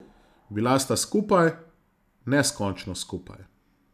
Bila sta skupaj, neskončno skupaj.